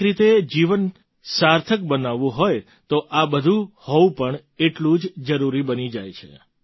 એક રીતે જીવનને સાર્થક બનાવવું હોય તો આ બધું હોવું પણ એટલું જ જરૂરી બની જાય છે